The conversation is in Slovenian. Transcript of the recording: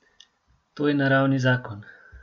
To je naravni zakon.